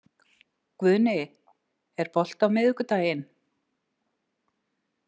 Guðni, er bolti á miðvikudaginn?